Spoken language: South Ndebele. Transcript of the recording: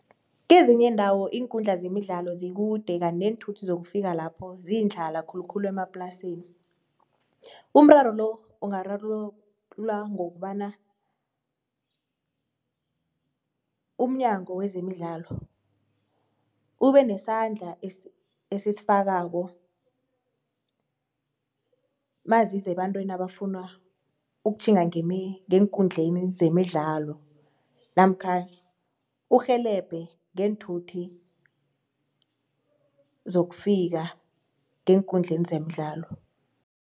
Kezinye iindawo iinkundla zemidlalo zikude kanti neenthuthi zokufika lapho ziyindlala khulu khulu emaplasini. Umraro lo, ungararululwa ngokobana umnyango wezemidlalo ubenesandla esisifakako naziza ebantwini abafuna tjhinga ngeenkundleni zemidlalo namkha urhelebhe ngeenthuthi zokufika ngeenkundleni zemidlalo.